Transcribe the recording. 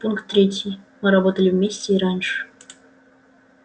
пункт третий мы работали вместе и раньше